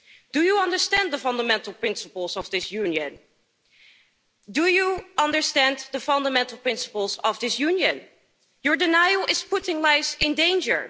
Do you understand the fundamental principles of this Union? Your denial is putting lives in danger.